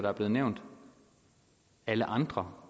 er blevet nævnt alle andre